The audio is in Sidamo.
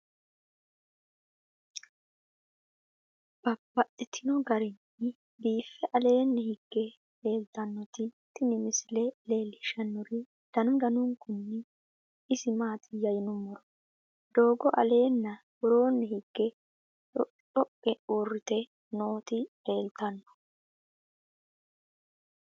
Babaxxittinno garinni biiffe aleenni hige leelittannotti tinni misile lelishshanori danu danunkunni isi maattiya yinummoro doogo alenna woroonni hige dhoqidhoqe uuritte nootti leelittanno